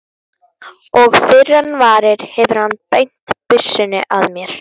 Og fyrr en varir hefur hann beint byssunni að mér.